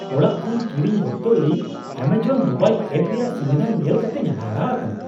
ᱚᱲᱟᱜ ᱠᱷᱚᱱ ᱠᱤᱨᱤᱧ ᱚᱠᱛᱚ ᱤᱧ ᱮᱢᱟᱡᱚᱱ ᱢᱳᱵᱟᱭᱤᱞ ᱮᱯ ᱨᱮᱭᱟᱜ ᱥᱩᱵᱤᱫᱷᱟ ᱧᱮᱞ ᱠᱟᱛᱮᱧ ᱦᱟᱦᱟᱲᱟᱜ ᱟᱠᱟᱱᱟ ᱾